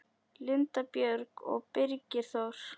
Linda Björg og Birgir Þór.